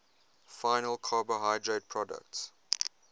final carbohydrate products